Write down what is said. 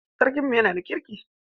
Sarkin mu yana da kirki.